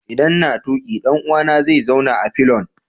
Idan n'na tuki, dan uwa na zai zauna a fillion.